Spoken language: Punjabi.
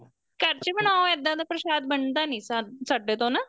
ਘਰ ਚ ਬਣਾਉ ਇੱਦਾਂ ਦਾ ਪ੍ਰਸ਼ਾਦ ਬਣਦਾ ਨੀਂ ਸਾਡੇ ਤੋਂ ਨਾ